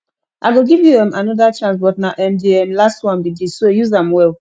i go give you um another chance but na um the um last one be dis so use am well